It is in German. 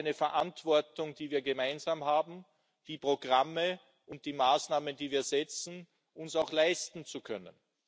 Aber es ist eine Verantwortung, die wir gemeinsam haben, uns die Programme und die Maßnahmen, die wir setzen, auch leisten zu können.